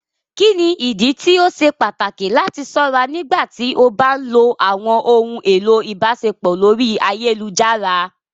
Kini idi ti o ṣe pataki lati ṣọra nigbati o ba nlo awọn ohun elo ibaṣepọ lori ayelujara?